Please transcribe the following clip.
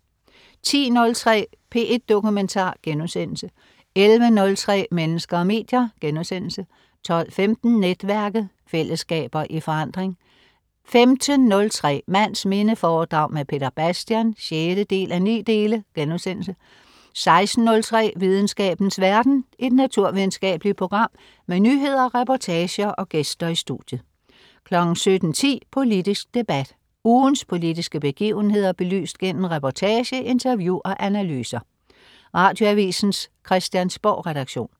10.03 P1 Dokumentar* 11.03 Mennesker og medier* 12.15 Netværket. Fællesskaber i forandring 15.03 Mands minde foredrag med Peter Bastian 6:9* 16.03 Videnskabens verden. Et naturvidenskabeligt program med nyheder, reportager og gæster i studiet 17.10 Politisk debat. Ugens politiske begivenheder belyst gennem reportage, interview og analyser. Radioavisens Christiansborgredaktion